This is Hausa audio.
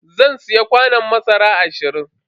Zan siya kwanon masara ashirin.